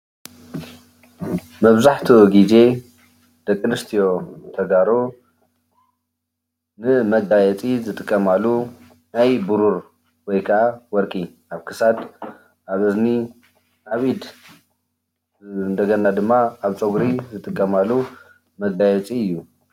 መብዛሕትኡ ግዜ ደቅ ኣንስትዮ ተጋሩ ዝጥቀማሉ መጋየፂ እዩ። ናይ ብሩር ወይ ድማ ወርቂ ኣብ ፣ክሳድ፣ ፀጉሪ ኣብ ኢድ ይግበር እዩ።